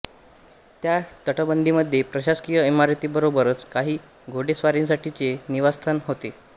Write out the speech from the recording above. त्या तटबंदीमध्ये प्रशासकीय इमारतींबरोबरच काही घोडेस्वारांसाठीचे निवासस्थान होते